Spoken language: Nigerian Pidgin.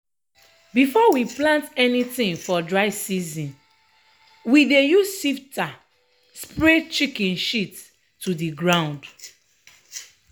before we plant anytin for dry season we dey use shifter spray chicken shit to de ground.